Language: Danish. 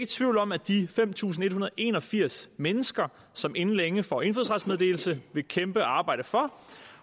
tvivl om at de fem tusind en hundrede og en og firs mennesker som inden længe får indfødsrets meddelelse vil kæmpe og arbejde for